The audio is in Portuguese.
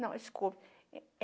Não, desculpe.